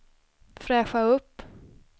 fräscha upp